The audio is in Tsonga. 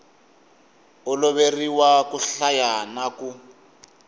oloveriwa ku hlaya na ku